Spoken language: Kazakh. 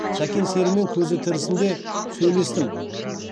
сәкен серімен көзі тірісінде сөйлестім